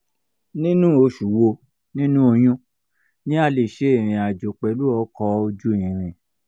ninu osu wo ninu oyun ni a le se irin ajo pelu oko oju iriǹ?